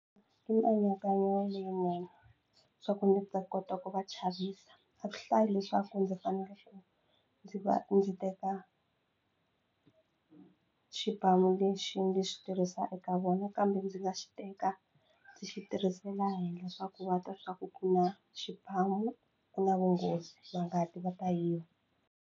I mianakanyo leyinene swa ku ndzi ta kota ku va chavisa a swi hlayi leswaku ndzi fanele ndzi va ndzi teka xibamu lexi ndzi xi tirhisa eka vona kambe ndzi nga xi teka ndzi xi tirhisela henhla swa ku va twa swa ku ku na xibamu ku na vunghozi va nga ti va ta yiva.